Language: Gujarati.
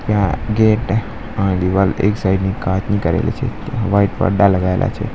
ત્યાં ગેટ અને દીવાલ એક સાઇડ ની કાચની કરેલી છે વ્હાઇટ પડદા લગાવેલા છે.